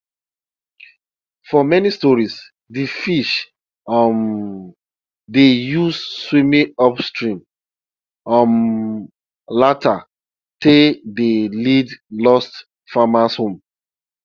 for many stories de fish um dey use swimming upstream um lantern tale dey lead lost farmers home